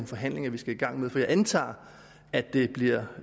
forhandlinger vi skal i gang med for jeg antager at det bliver